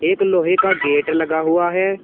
एक लोहे का गेट लगा हुआ है।